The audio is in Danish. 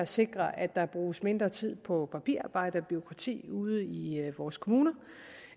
sikrer at der bruges mindre tid på papirarbejde og bureaukrati ude i i vores kommuner